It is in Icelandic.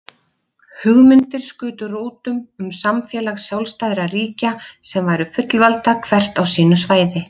Hugmyndir skutu rótum um samfélag sjálfstæðra ríkja sem væru fullvalda hvert á sínu svæði.